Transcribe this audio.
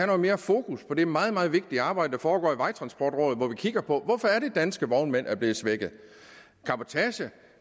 noget mere fokus på det meget meget vigtige arbejde der foregår i vejtransportrådet hvor man kigger på hvorfor danske vognmænd er blevet svækket